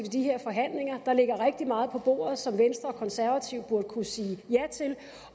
i de forhandlinger der ligger rigtig meget på bordet som venstre og konservative burde kunne sige ja til